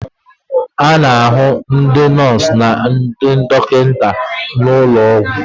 A na-ahụ ndị nọọsụ na ndị dọkịta n'ụlọ ọgwụ.